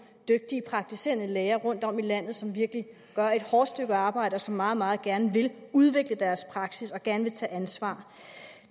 dygtige praktiserende læger rundtom i landet som virkelig gør et hårdt stykke arbejde og som meget meget gerne vil udvikle deres praksis og gerne vil tage ansvar